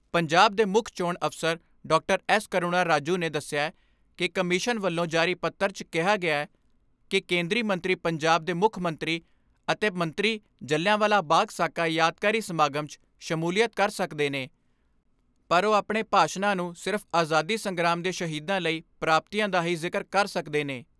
ਪੰਜਾਬ ਦੇ ਮੁੱਖ ਚੋਣ ਅਫਸਰ ਡਾਕਟਰ ਐਸ ਕਰੁਣਾ ਰਾਜੂ ਨੇ ਦਸਿਆ ਕਿ ਕਮਿਸ਼ਨ ਵੱਲੋਂ ਜਾਰੀ ਪੱਤਰ 'ਚ ਕਿਹਾ ਗਿਐ ਕਿ ਕੇਂਦਰੀ ਮੰਤਰੀ ਪੰਜਾਬ ਦੇ ਮੁੱਖ ਮੰਤਰੀ ਅਤੇ ਮੰਤਰੀ ਜਲ੍ਹਿਆਂਵਾਲਾ ਬਾਗ਼ ਸਾਕਾ ਯਾਦਗਾਰੀ ਸਮਾਗਮ 'ਚ ਸ਼ਮੂਲੀਅਤ ਕਰ ਸਕਦੇ ਨੇ ਪਰ ਉਹ ਆਪਣੇ ਭਾਸ਼ਾਨਾਂ ਨੂੰ ਸਿਰਫ਼ ਆਜ਼ਾਦੀ ਸੰਗਰਾਮ ਦੇ ਸ਼ਹੀਦਾਂ ਲਈ ਪ੍ਰਾਪਤੀਆਂ ਦਾ ਹੀ ਜ਼ਿਕਰ ਕਰ ਸਕਦੇ ਨੇ।